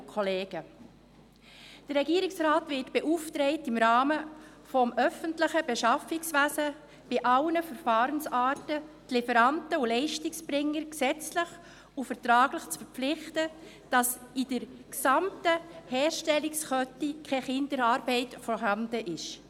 Der Regierungsrat wird beauftragt, im Rahmen des öffentlichen Beschaffungswesens bei allen Verfahrensarten die Lieferanten und Leistungserbringer gesetzlich und vertraglich dazu zu verpflichten, dass es in der gesamten Herstellungskette keine Kinderarbeit gibt.